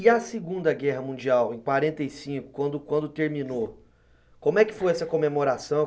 E a Segunda Guerra Mundial, em quarenta e cinco, quando quando terminou, como é que foi essa comemoração?